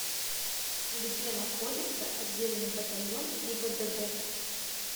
где находится отдельный батальон гибдд